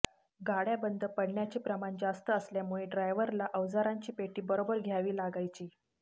गाड्या बंद पडण्याचे प्रमाण जास्त असल्यामुळे ड्रायव्हरला अवजारांची पेटी बरोबर घ्यावी लागायची